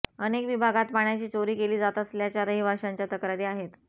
अनेक विभागांत पाण्याची चोरी केली जात असल्याच्या रहिवाशांच्या तक्रारी आहेत